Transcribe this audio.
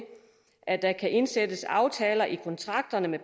at der kan indsættes aftaler i kontrakterne